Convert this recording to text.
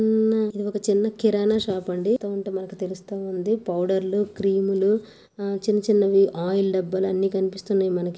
ఇది ఒక చిన్న కిరాణా షాప్ అండి తో ఉంటే మనకి తెలుస్తు ఉంది పౌడర్ లు క్రీమ్ లు ఆ చిన్న చిన్నవి ఆయిల్ దబ్బాలు అన్నీ కనిపిస్తున్నాయ్ మనకి --